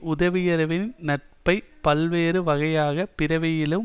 உதவியவரின் நட்பை பல்வேறு வகையான பிறவியிலும்